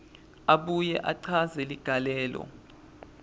abuye achaze ligalelo